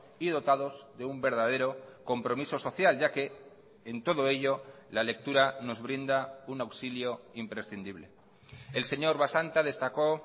y dotados de un verdadero compromiso social ya que en todo ello la lectura nos brinda un auxilio imprescindible el señor basanta destacó